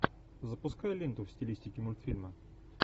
запускай ленту в стилистике мультфильма